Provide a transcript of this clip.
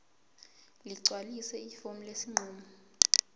ligcwalise ifomu lesinqumo